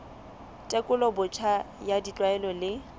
tekolo botjha ya ditlwaelo le